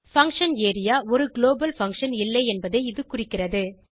function area ஒரு global function இல்லை என்பதை இது குறிக்கிறது